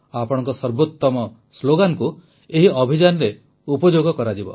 ଆପଣଙ୍କ ସର୍ବୋତମ ସ୍ଲୋଗାନ୍କୁ ଏହି ଅଭିଯାନରେ ଉପଯୋଗ କରାଯିବ